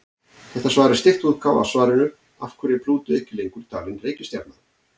Þetta svar er stytt útgáfa af svarinu Af hverju er Plútó ekki lengur talin reikistjarna?